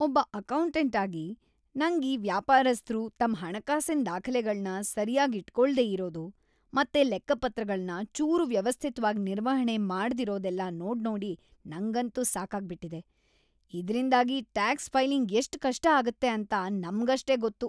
ಒಬ್ಬ ಅಕೌಂಟೆಂಟ್ ಆಗಿ, ನಂಗ್ ಈ ವ್ಯಾಪಾರಸ್ಥ್ರು ತಮ್‌ ಹಣಕಾಸಿನ್ ದಾಖ್ಲೆಗಳ್ನ ಸರ್ಯಾಗಿಟ್ಕೊಳ್ದೇ‌ ಇರೋದು ಮತ್ತೆ ಲೆಕ್ಕಪತ್ರಗಳ್ನ ಚೂರೂ‌ ವ್ಯವಸ್ಥಿತ್ವಾಗ್ ನಿರ್ವಹಣೆ ಮಾಡ್ದಿರೋದೆಲ್ಲ ನೋಡ್ನೋಡಿ ನಂಗಂತೂ ಸಾಕಾಗ್ಬಿಟ್ಟಿದೆ.. ಇದ್ರಿಂದಾಗಿಟ್ಯಾಕ್ಸ್ ಫೈಲಿಂಗ್ ಎಷ್ಟ್‌ ಕಷ್ಟ ಆಗತ್ತೆ ಅಂತ ನಮ್ಗಷ್ಟೇ ಗೊತ್ತು.